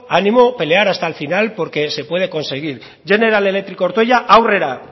ánimo pelear hasta el final porque se puede conseguir general electric ortuella aurrera